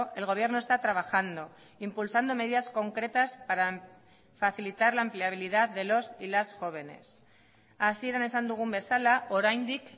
el gobierno está trabajando impulsando medidas concretas para facilitar la empleabilidad de los y las jóvenes hasieran esan dugun bezala oraindik